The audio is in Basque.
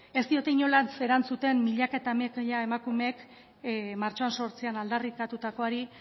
ez diote inolaz ere erantzuten milaka eta milaka emakumek martxoaren zortzian aldarrikatutakoari